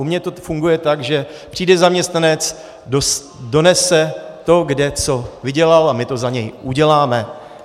U mě to funguje tak, že přijde zaměstnanec, donese to, kde co vydělal, a my to za něj uděláme.